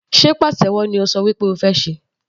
Sé pàtẹ́wọ́ ni o ṣọ wí pé o fẹ́ ṣe?.